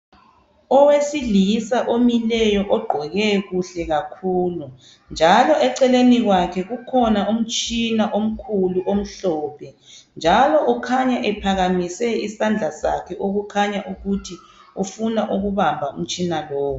Owesilisa imileyo ogqoke kuhle kakhulu. Njalo eceleni kwakhe ukhona umtshina omkhulu amhlophe. Njalo ukhanya ephakamise isandla sakhe okukhanya ukuthi ufuna ukubamba umtshina lowu.